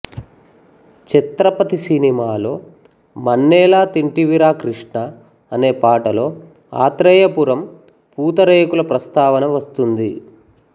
ఛత్రపతి సినిమాలో మన్నేల తింటివిరా కృష్ణా అనే పాటలో ఆత్రేయపురం పూతరేకుల ప్రస్తావన వస్తుంది